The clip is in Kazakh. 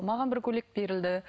маған бір көйлек берілді